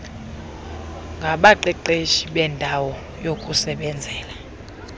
ngabaqeqeshi beendawo yokusebenzela